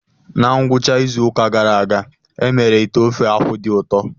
Na ngwụcha izu ụka gara aga, e mere ite ofe-akwu dị ụtọ.